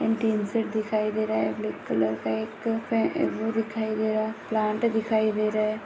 इंटेन्सर दिखाई दे रहा है ब्लैक कलर का एक वो दिखाई दे रहा है प्लांट दिखाई दे रहा है।